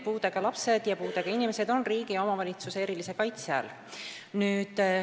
Puudega lapsed ja puudega inimesed on riigi ja omavalitsuse erilise kaitse all.